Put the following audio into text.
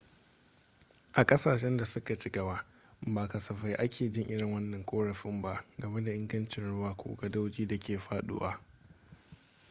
a kasashen da suka ci gaba ba kasafai ake jin irin wannan korafin ba game da ingancin ruwa ko gadoji da ke faduwa